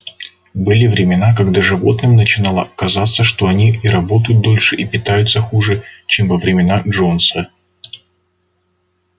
были времена когда животным начинало казаться что они и работают дольше и питаются хуже чем во времена джонса